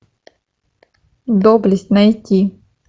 доблесть найти